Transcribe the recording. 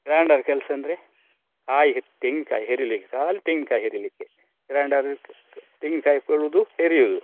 Grinder ಕೆಲಸ ಅಂದ್ರೆ ಕಾಯಿ ತೆಂಗಿನ್ಕಾಯಿ ಹೆರಿಲಿಕ್ಕೆ ಖಾಲಿ ತೆಂಗಿನಕಾಯಿ ಹೆರಿಲಿಕ್ಕೆ grinder ತೆಂಗಿನ್ಕಾಯಿ ಹೆರಿಯುದು.